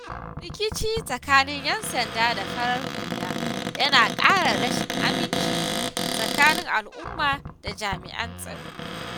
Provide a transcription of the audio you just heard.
Rikici tsakanin ƴan sanda da farar hula yana ƙara rashin aminci tsakanin al'umma da jami’an tsaro.